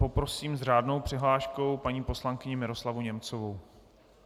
Poprosím s řádnou přihláškou paní poslankyni Miroslavu Němcovou.